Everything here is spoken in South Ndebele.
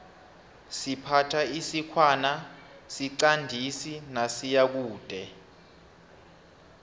siphatha isikhwana siqandisi nasiyakude